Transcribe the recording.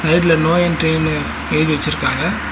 சைட்ல நோ என்ட்ரின்னு எழுதி வச்சுருக்காங்க.